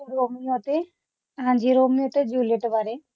Romeo ਅਤੇ ਹਾਂਜੀ Romeo ਅਤੇ ਜੂਲੀਅਟ ਬਾਰੇ